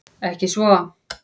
Ekki svo